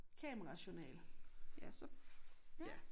Kamerajournal ja så ja